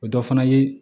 O dɔ fana ye